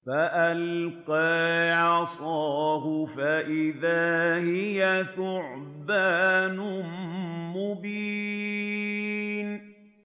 فَأَلْقَىٰ عَصَاهُ فَإِذَا هِيَ ثُعْبَانٌ مُّبِينٌ